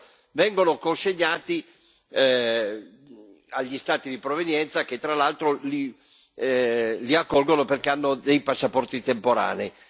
È vero, vengono consegnati agli Stati di provenienza, che tra l'altro li accolgono perché hanno dei passaporti temporanei.